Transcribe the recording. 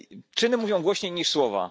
Czyny mówią głośniej niż słowa.